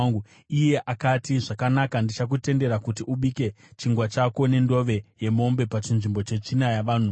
Iye akati, “Zvakanaka, ndichakutendera kuti ubike chingwa chako nendove yemombe pachinzvimbo chetsvina yavanhu.”